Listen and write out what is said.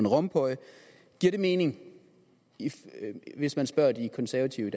rompuy giver det mening hvis man spørger de konservative